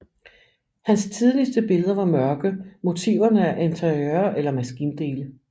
Hans tidligste billeder var mørke motiverne af interiører eller maskindele